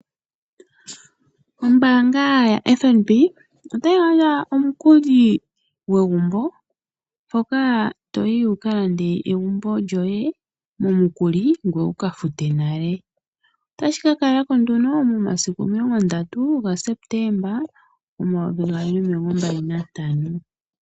Oombaanga yaFNB otayi gandja omukuli gwegumbo mpoka toyi wuka lande egumbo lyoye momukuli ngoye wuka fute nale. Otashika kala ko nduno momasiku omilongo ndatu gaSepetemba 2025.